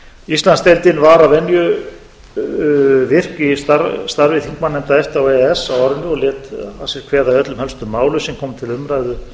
íslandsdeild var að venju virk í starfi þingmannanefnda efta og e e s á árinu og lét að sér kveða í öllum helstu málum sem komu til umræðu